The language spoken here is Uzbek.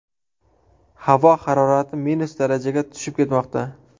Havo harorati minus darajaga tushib ketmoqda.